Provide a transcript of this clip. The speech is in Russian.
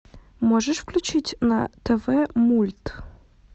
можешь включить на тв мульт